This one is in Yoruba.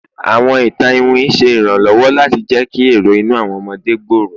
Awọn itan iwin ṣe iranlọwọ lati jẹ ki ero inu awọn ọmọde gbooro